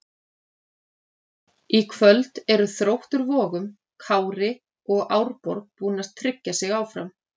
Í kvöld eru Þróttur Vogum, Kári og Árborg búin að tryggja sig áfram.